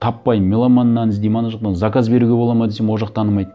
таппай меломаннан іздеймін ана жақтан заказ беруге болады ма десем ол жақ танымайды